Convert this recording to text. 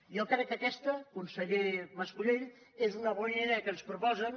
jo crec que aquesta conseller mas colell és una bona idea que ens proposen